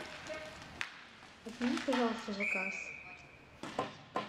отмени пожалуйста заказ